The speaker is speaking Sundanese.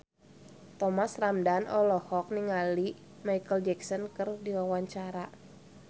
Thomas Ramdhan olohok ningali Micheal Jackson keur diwawancara